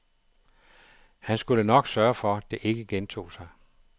Han skulle nok sørge for, det ikke gentog sig.